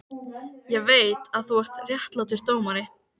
Ég veit, að þú ert réttlátur dómari.